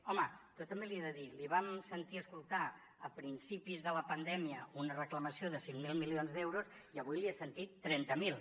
home jo també li he de dir li vam sentir escoltar a principis de la pandèmia una reclamació de cinc mil milions d’euros i avui li he sentit trenta miler